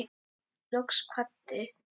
Loks kvaddi